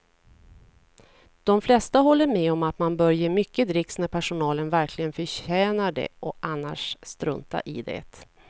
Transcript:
De flesta håller med om att man bör ge mycket dricks när personalen verkligen förtjänar det och annars strunta i det.